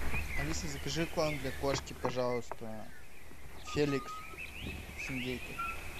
алиса закажи корм для кошки пожалуйста феликс с индейкой